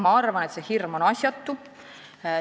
Ma arvan, et see hirm on asjatu.